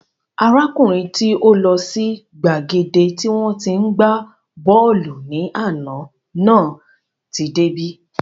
Arákùnrin tí ó lọ sí gbàgede tí wọ́n tí ń gbá bọ́ọ̀lù ní àná náà tí dé bí